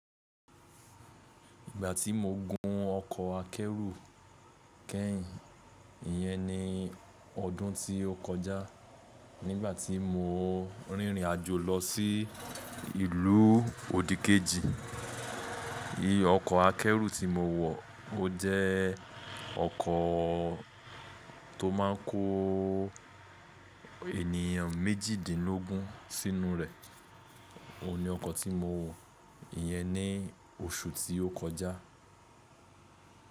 Ìgbà tí mo gun ọkọ̀ akẹ́rù kẹ́yìn, ìyẹ́n ni ọdún tí ó kọjá nígbà tí mo rìnrìn àjò lọ sí ìlú òdì kejì. I ọkọ̀ akẹ́rù tí mo wọ̀, ó jẹ́ ọkọ̀ tó má ń kó ènìyàn méjìdínlógún sínú rẹ̀. Ó ni ọkọ̀ tí mo wọ̀, ìyẹ́n ni oṣù tí ó kọjá.